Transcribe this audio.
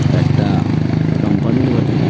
একটা কোম্পানি র বটে।